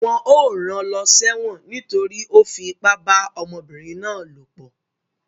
Wọ́n ó ran lọ sẹ́wọ̀n nítorí ó fi ipá bá ọmọbìnrin náà lòpọ̀